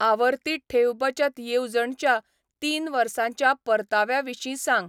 आवर्ती ठेव बचत येवजण च्या तीन वर्सांच्या परताव्या विशीं सांग.